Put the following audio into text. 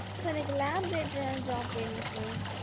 sir எனக்கு lab related ஆ jobs வேணும் sir?